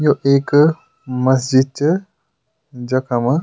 यो एक मस्जिद च जखम --